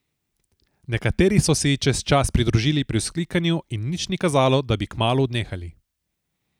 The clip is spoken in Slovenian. Nekateri so se ji čez čas pridružili pri vzklikanju in nič ni kazalo, da bi kmalu odnehali.